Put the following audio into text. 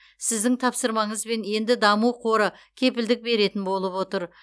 сіздің тапсырмаңызбен енді даму қоры кепілдік беретін болып отыр